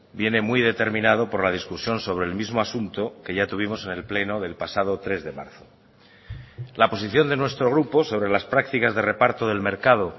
viene muy determinado por la discusión sobre el mismo asunto que ya tuvimos en el pleno del pasado tres de marzo la posición de nuestro grupo sobre las prácticas de reparto del mercado